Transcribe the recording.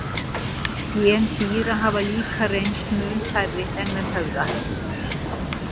Gen dýra hafa líka reynst mun færri en menn höfðu ætlað.